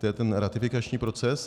To je ten ratifikační proces.